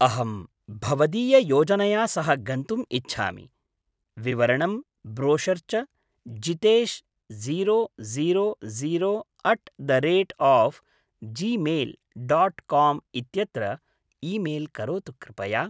अहं भवदीययोजनया सह गन्तुम् इच्छामि। विवरणं ब्रोशर् च Jitesh zero zero zero at the rate of Gmail dot com इत्यत्र ईमेल् करोतु कृपया।